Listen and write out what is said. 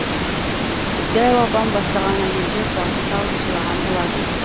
дәу апам бастаған әйелдер дауыс салып жылаған болатын